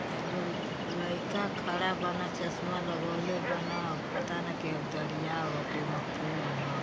आ एगो लइका खड़ा बाना चश्मा लगोले बाना पता ना के ह दरिया ह की ओमे पुल ह।